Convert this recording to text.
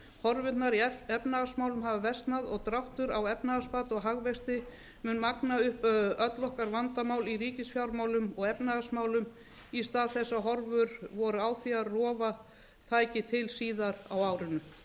horfurnar í efnahagsmálum hafa versnað og dráttur á efnahagsbata og hagvexti mun magna upp öll okkar vandamál í ríkisfjármálum og efnahagsmálum í stað þess að horfur voru á því að rofa tæki til síðar á árinu